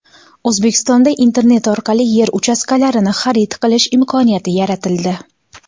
O‘zbekistonda internet orqali yer uchastkalarini xarid qilish imkoniyati yaratildi.